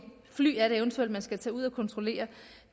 fly det er man eventuelt skal tage ud og kontrollere